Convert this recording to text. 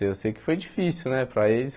Eu sei que foi difícil né para eles.